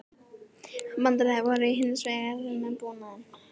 Vandræði voru hins vegar með búnaðinn